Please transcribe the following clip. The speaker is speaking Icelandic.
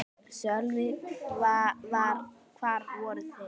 Sölvi: Hvar voru þeir?